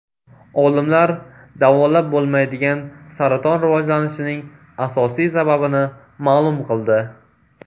Olimlar davolab bo‘lmaydigan saraton rivojlanishining asosiy sababini ma’lum qildi.